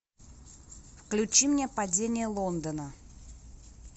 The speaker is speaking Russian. включи мне падение лондона